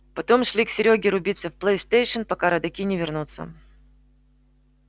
потом шли к серёге рубиться в плейстейшн пока родаки не вернутся